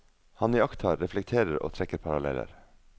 Han iakttar, reflekterer og trekker paralleller.